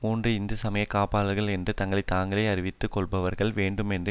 மூன்று இந்து சமய காப்பாளர்கள் என்று தங்களை தாங்களேஅறிவித்துக் கொள்ளுபவர்கள் வேண்டுமென்றே